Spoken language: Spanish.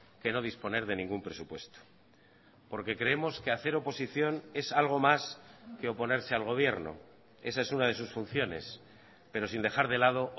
que no disponer de ningún presupuesto porque creemos que hacer oposición es algo más que oponerse al gobierno esa es una de sus funciones pero sin dejar de lado